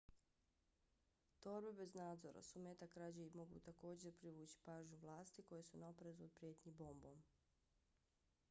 torbe bez nadzora su meta krađe i mogu također privući pažnju vlasti koje su na oprezu od prijetnji bombom